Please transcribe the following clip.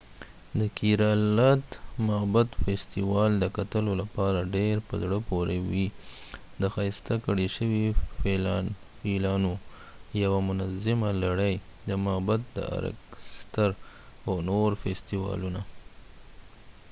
د کېرالا د معبد فیستیوال دکتلو لپاره ډیر په زړه پورې وي د ښایسته کړي شوي فیلانو یوه منظمه لړۍ دمعبد د ارکسترا او نور فیستوالونه